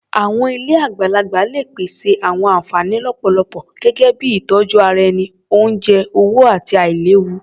Àwọn ilé àgbàlagbà lè pèsè àwọn ànfàní lọ́pọ̀lọpọ̀ gẹ́gẹ́ bíi ìtọjú ara ẹni, oúnjẹ, owó, àti àìléwu.